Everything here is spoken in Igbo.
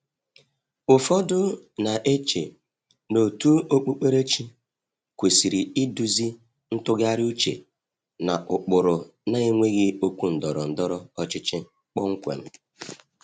Ụfọdụ na-eche na òtù okpukperechi kwesịrị iduzi ntụgharị uche n’ụkpụrụ na-enweghị okwu ndọrọ ndọrọ ọchịchị kpọmkwem.